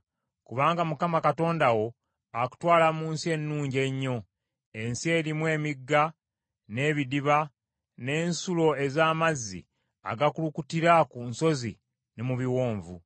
Kubanga Mukama Katonda wo akutwala mu nsi ennungi ennyo: ensi erimu emigga, n’ebidiba, n’ensulo ez’amazzi agakulukutira ku nsozi ne mu biwonvu.